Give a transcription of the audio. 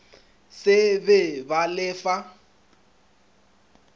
se be ba le fa